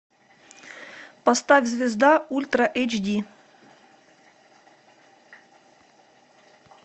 поставь звезда ультра эйч ди